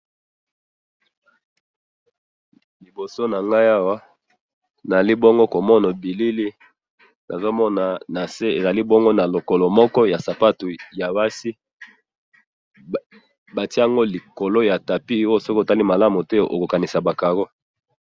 liboso nangayi awa nazali bongo komona bilili nazomona nase ezali bongo ya lokolo ya sapatu ya basi soki omoni bien te okoki kokandisa que ezali likolo yaba carreaux